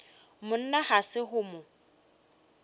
monna ga se go mo